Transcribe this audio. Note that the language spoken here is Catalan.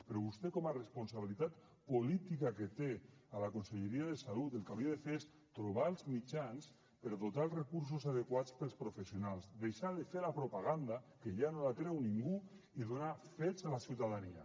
però vostè com a responsabilitat política que té a la conselleria de salut el que hauria de fer és trobar els mitjans per dotar dels recursos adequats els professionals deixar de fer la propaganda que ja no la creu ningú i donar fets a la ciutadania